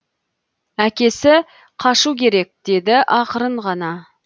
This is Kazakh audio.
әкесі қашу керек деді ақырын ғана